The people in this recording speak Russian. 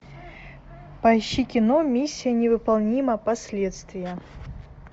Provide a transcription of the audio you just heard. поищи кино миссия невыполнима последствия